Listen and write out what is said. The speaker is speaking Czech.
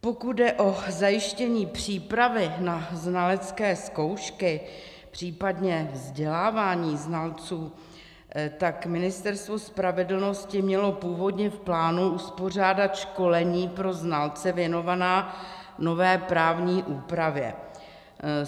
Pokud jde o zajištění přípravy na znalecké zkoušky, případně vzdělávání znalců, tak Ministerstvo spravedlnosti mělo původně v plánu uspořádat školení pro znalce věnovaná nové právní úpravě.